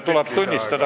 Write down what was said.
Kolm minutit lisaaega.